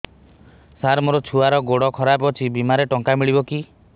ସାର ମୋର ଛୁଆର ଗୋଡ ଖରାପ ଅଛି ବିମାରେ ଟଙ୍କା ମିଳିବ କି